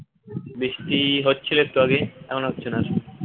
বৃষ্টি হচ্ছিল একটু আগে এখন আর হচ্ছে না